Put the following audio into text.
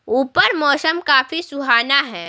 ऊपर मौसम काफी सुहाना है।